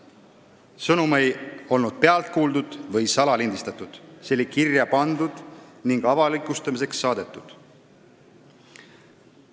See sõnum ei olnud pealt kuuldud või salalindistatud, see oli kirja pandud ja avalikustamiseks saadetud.